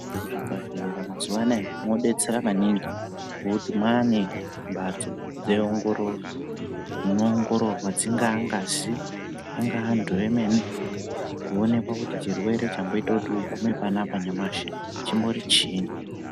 Muzvibhahlera mazuwa anaya mobetsera maningi ngokuti maane mbatso dzeongororo unoongororwa dzingaa ngazi ingaa antu emene kuonekwa kuti chirwere chamboita kuti ugume panapa nyamashi chimbori chiinyi.